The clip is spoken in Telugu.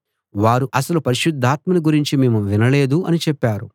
వారు అసలు పరిశుద్ధాత్మను గురించి మేము వినలేదు అని చెప్పారు